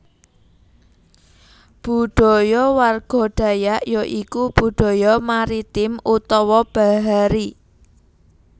Budaya warga Dayak ya iku Budaya Maritim utawa bahari